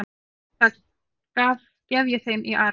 Það gef ég þeim í arf.